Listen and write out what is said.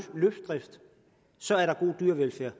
så er god dyrevelfærd